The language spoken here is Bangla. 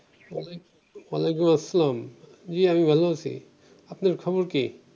ওয়ালাইকুম আসসালাম জী আমি ভালো আছি আপনার খবর কি?